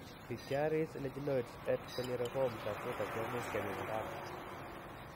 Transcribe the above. Pityriasis lichenoides et varioliformis acuta kemuch kepimandaano